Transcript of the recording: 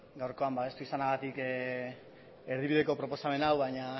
gaurkoan babestu izanagatik erdibideko proposamen hau baina